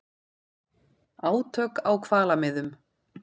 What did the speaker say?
Átök á hvalamiðum